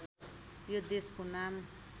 यो देशको नाम